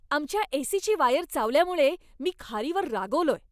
आमच्या ए.सी.ची वायर चावल्यामुळे मी खारीवर रागावलोय.